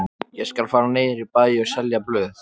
Ég skal fara niður í bæ og selja blöð.